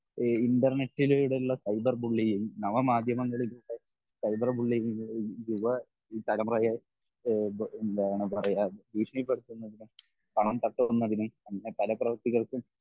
ഇഹ് ഇൻ്റെർനെറ്റിലൂടെ ഉള്ള cyber bullying നവമാധ്യമങ്ങളിലൂടെ സൈബർ ബുള്ളിയിങ് യുവതലമുറയെ ഇഹ് എന്താണ് പറയെ ഭീഷണിപ്പെടുത്തുന്നതിന് അങ്ങിനെ പല പ്രവർത്തികൾക്കും